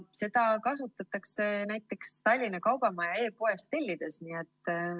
Seda kasutab näiteks Tallinna Kaubamaja oma e‑poes.